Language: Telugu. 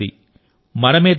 ఈ భూమి మనది